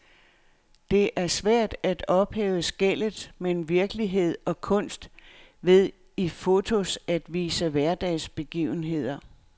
Det er svært at ophæve skellet mellem virkelighed og kunst ved i fotos at vise hverdagsbegivenheder.